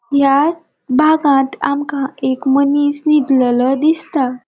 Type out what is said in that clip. या भागांत आमका एक मनिस निदलोलो दिसता.